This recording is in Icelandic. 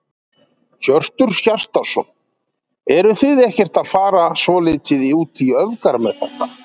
Hjörtur Hjartarson: Eruð þið ekkert að fara svolítið út í öfgar með þetta?